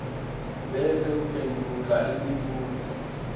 bese uphendvula imibuto